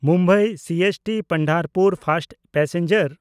Mumbai CST-Pandharpur first passenger